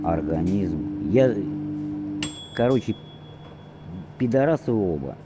организм я короче пидарасы оба